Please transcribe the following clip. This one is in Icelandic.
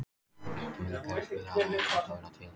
Vilgerður, spilaðu lagið „Gott að vera til“.